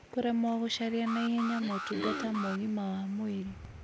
Kũremwo gũcaria na ihenya mũtungata ma ũgima wa mwĩrĩ